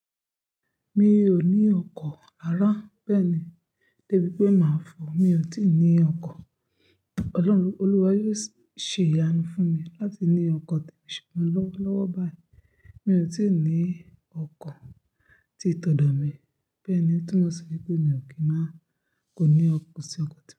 Mi ò ní ọkọ̀ ara bẹ́ẹ̀ni débi pé máa fọ̀, mi ò tíì ní ọkọ̀. Ọlọ́run, Olúwa yóò ṣe ìyanu fún mi láti ní ọkọ̀ tí ṣùgbọ́n lọ́wọ́lọ́wọ́ báyìí, mi ò tíì ní ọkọ̀ tí tọ́dọ̀ mi. Bẹ́ẹ̀ni, o túmọ̀ sí pé mi ò kí máa kó ní ọkọ̀ sí ọkọ̀ tá.